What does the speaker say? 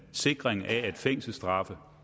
sikring af at fængselsstraffe